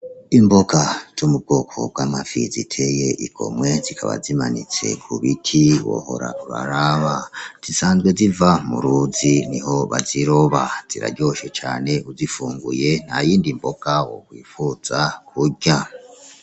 Imboga zo mu bwoko bw'amafi ziteye igomwe zikaba zimanitse ku biti wohora uraraba. Zisanzwe ziva mu ruzi niho baziroba ziraryoshe cane uzifunguye nta yindi mboga wokwifuza kurya.